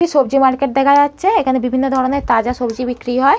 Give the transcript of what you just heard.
সবজি মার্কেট দেখা যাচ্ছে এখানে বিভিন্ন ধরনের তাজা সবজি বিক্রি হয়।